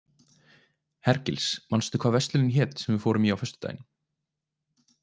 Hergils, manstu hvað verslunin hét sem við fórum í á föstudaginn?